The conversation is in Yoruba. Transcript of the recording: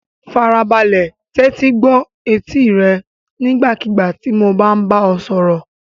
Farabalẹ̀ tẹ́tí gbọ́ etí rẹ nígbàkigbà tí mo bá bá ọ sọ̀rọ̀.